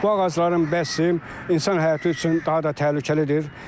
Bu ağacların bəsim insan həyatı üçün daha da təhlükəlidir.